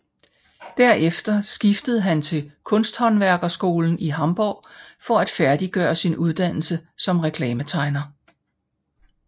Derefter skiftede han til kunsthåndværkerskolen i Hamborg for at færdiggøre sin uddannelse som reklametegner